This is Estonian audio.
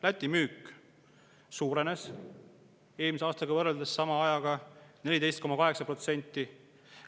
Läti müük suurenes eelmise aasta sama ajaga võrreldes 14,8%.